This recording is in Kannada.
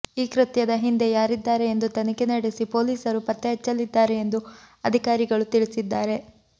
ಈ ಕೃತ್ಯದ ಹಿಂದೆ ಯಾರಿದ್ದಾರೆ ಎಂದು ತನಿಖೆ ನಡೆಸಿ ಪೊಲೀಸರು ಪತ್ತೆಹಚ್ಚಲಿದ್ದಾರೆ ಎಂದು ಅಧಿಕಾರಿಗಳು ತಿಳಿಸಿದ್ದಾರೆ